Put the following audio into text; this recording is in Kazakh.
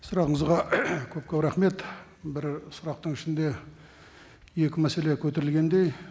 сұрағыңызға көп көп рахмет бір сұрақтың ішінде екі мәселе көтерілгендей